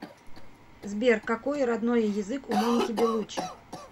сбер какои роднои язык у моники белуччи